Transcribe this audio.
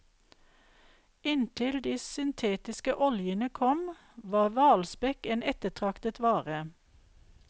Inntil de syntetiske oljene kom, var hvalspekk en ettertraktet vare.